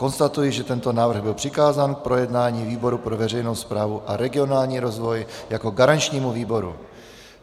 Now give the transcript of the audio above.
Konstatuji, že tento návrh byl přikázán k projednání výboru pro veřejnou správu a regionální rozvoj jako garančnímu výboru.